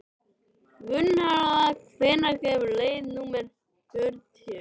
Gunnharða, hvenær kemur leið númer fjörutíu?